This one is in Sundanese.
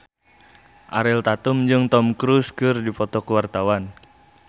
Ariel Tatum jeung Tom Cruise keur dipoto ku wartawan